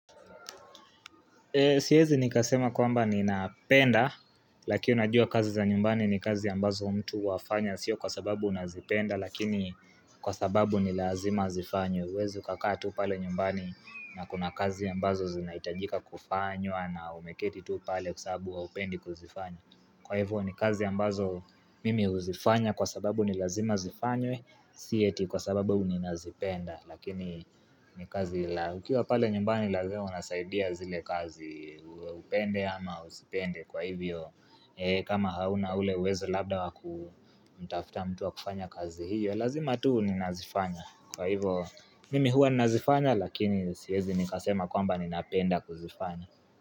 Siyezi nikasema kwamba ni napenda lakini unajua kazi za nyumbani ni kazi ambazo mtu wafanya sio kwa sababu unazipenda lakini kwa sababu nilazima zifanywe Wezi kakaa tu pale nyumbani na kuna kazi ambazo zinaitajika kufanywa na umeketi tu pale kusabu upendi kuzifanya Kwaivo ni kazi ambazo mimi uzifanya kwa sababu nilazima zifanyo sieti kwa sababu ninazipenda Lakini ni kazi la ukiwa pale nyumbani lazima unasaidia zile kazi upende ama usipende kwa hivyo kama hauna ule uwezo labda wakutafuta mtuwa kufanya kazi hiyo Lazima tuu ni nazifanya kwa hivyo nimi huwa nazifanya lakini siwezi nikasema kwamba ni napenda kuzifanya.